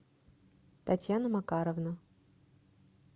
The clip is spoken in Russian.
татьяна макаровна